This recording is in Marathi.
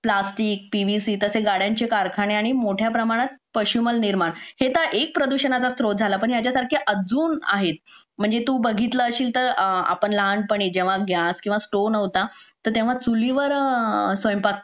प्लास्टिक पीव्हीसी तसेच गाड्यांचे कारखाने आणि मोठ्या प्रमाणात पश्चिमल निर्माण हे तर एक प्रदूषणाचा स्त्रोत झाला पण याच्या सारखे अजून आहेत म्हणजे तू बघितलं असेल तर लहानपणी जेव्हा गॅस किंवा स्टोव नव्हता तेव्हा चुलीवर स्वयंपाक